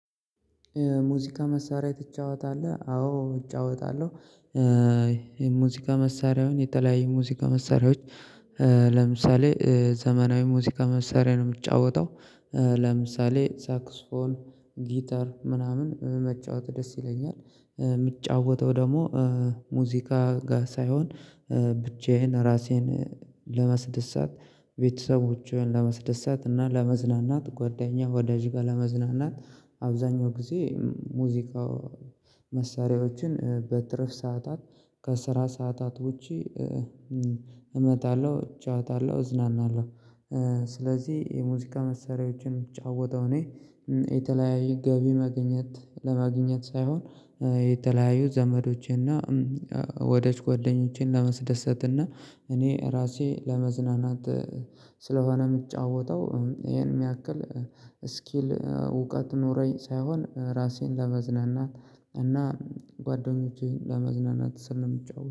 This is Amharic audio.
ሙዚቃ መሳሪያ ትጫወታለህ አዎ እጫወታለሁ። ሙዚቃ መሳሪያውን የተለያየ ሙዚቃ መሳሪያዎች ለምሳሌ ዘመናዊ ሙዚቃ መሳሪያ ነው የምጫወተው። ለምሳሌ ሳክስፎን ጊታር ምናምን መጫወት ደስ ይለኛል። የሚጫወተው ደግሞ ሙዚቃ ጋር ሳይሆን ብቻዬን ራሴን ለማስደስት ቤተሰቦችን ለማስደሳት እና ለመዝናናት ጓደኛ ወዳጅ ጋር ለመዝናናት አብዛኛው ጊዜ ሙዚቃ መሳሪያዎችን በትረፍ ሰዓታት ከስራ ሰዓታት ውጪ እመጣለሁ እጫወታለሁ እዝናናለሁ። ስለዚህ የሙዚቃ መሰሪያዎችን እምጫወተው እኔ የተለያየ ገቢ መገኘት ለማግኘት ሳይሆን። የተለያየ ዘመዶቼና ወዳጅ ጓደኞቼን ለመስደሰትና እኔ ራሴ ለመዝናናት። ስለሆነ የምጫወተው ይሄን የሚያክል ስኪል እውቀት ኖረኝ ሳይሆን ራሴን ለመዝናናት እና ጓደኞቼን ለማዝናናት ስል ነው የሚጫወት